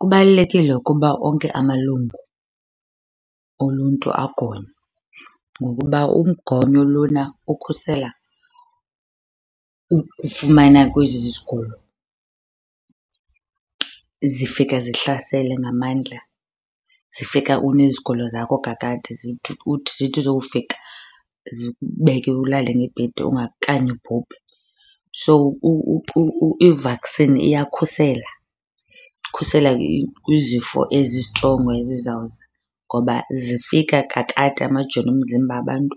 Kubalulekile ukuba onke amalungu oluntu agonywe ngokuba umgonyo lona ukhusela ukufumana kwezi zigulo zifika zihlasele ngamandla. Zifika unezigulo zakho kakade zithi zowufika zikubeke ulale ngebhedi okanye ubhubhe. So, i-vaccine iyakhusela, ikhusela kwizifo ezistrongo ezizawuza ngoba zifika kakade amajoni omzimba abantu